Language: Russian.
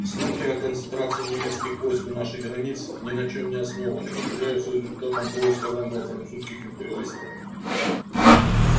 слухи о концентрации немецких войск у наших границ ни на чем не основаны и являются результатом происков англо французских империалистов